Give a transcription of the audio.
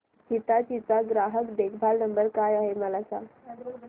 हिताची चा ग्राहक देखभाल नंबर काय आहे मला सांगाना